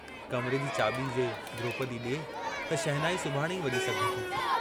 कमरे जी चाबी जे द्रोपदी डिए त शहनाई सुभाणे ई वजी सघे थी।